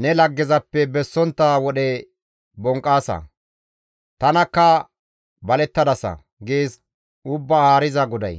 ne laggezappe bessontta wodhe bonqqaasa; tanakka balettadasa› gees Ubbaa Haariza GODAY.